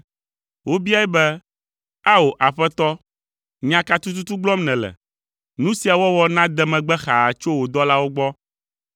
Wobiae be, “Ao, aƒetɔ, nya ka tututu gblɔm nèle? Nu sia wɔwɔ nade megbe xaa tso wò dɔlawo gbɔ.